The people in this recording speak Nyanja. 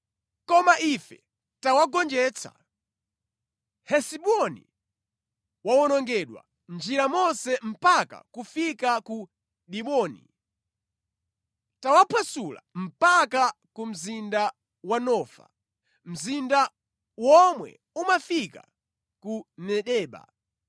“Koma ife tawagonjetsa; Hesiboni wawonongedwa mʼnjira monse mpaka kufika ku Diboni. Tawaphwasula mpaka ku mzinda wa Nofa, mzinda womwe umafika ku Medeba.